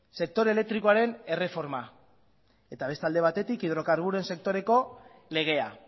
sektore elektrikoaren erreforma eta beste alde batetik hidrokarburoren sektoreko legea